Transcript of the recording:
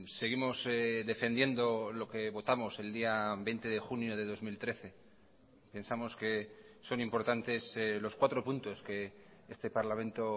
seguimos defendiendo lo que votamos el día veinte de junio de dos mil trece pensamos que son importantes los cuatro puntos que este parlamento